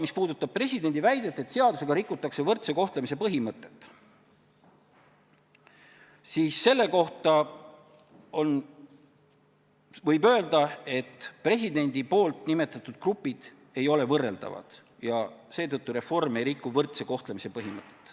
Mis puudutab presidendi väidet, et seadusega rikutakse võrdse kohtlemise põhimõtet, siis selle kohta võib öelda, et presidendi nimetatud grupid ei ole võrreldavad ja seetõttu reform ei riku võrdse kohtlemise põhimõtet.